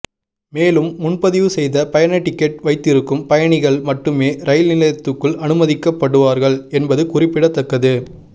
மேலும் முன்பதிவு செய்த பயண டிக்கெட் வைத்திருக்கும் பயணிகள் மட்டுமே ரயில் நிலையத்துக்குள் அனுமதிக்கப்படுவார்கள் என்பது குறிப்பிடத்தக்கது